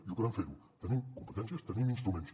i ho podem fer tenim competències tenim instruments